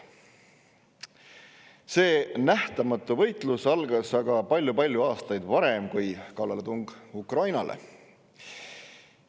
See nähtamatu võitlus algas aga väga palju aastaid varem kui kallaletung Ukrainale.